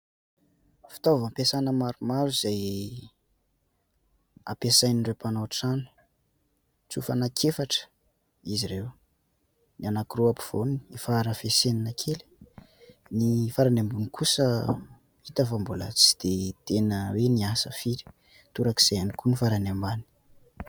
Fitaovam-piasana maromaro izay ampiasain'ireo mpanao trano tsofa anankiefatra izy ireo. Ny anankiroa ampovoany efa harafesenina kely, ny farany ambony kosa hita fa mbola tsy dia tena hoe niasa firy, torak'izay ihany koa ny farany ambany.